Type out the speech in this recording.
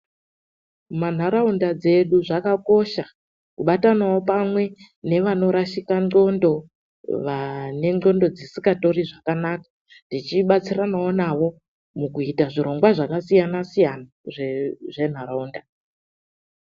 MUNHARAUNDA DZEDU ZVAKAKOSHA KUBATANAWO PAMWE NEVANORASHIKA NDXONDO, VANE NDXONDO DZISINGATORI ZVAKANAKA, TICHIBATSIRANAWO NAVO MUKUITA ZVIRONGWA ZVAKASIYANA-SIYANA ZVENHARAUNDA